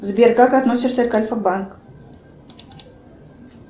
сбер как относишься к альфа банк